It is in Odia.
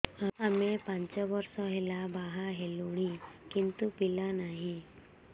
ଆମେ ପାଞ୍ଚ ବର୍ଷ ହେଲା ବାହା ହେଲୁଣି କିନ୍ତୁ ପିଲା ନାହିଁ